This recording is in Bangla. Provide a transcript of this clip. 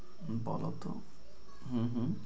হম বলো তো হম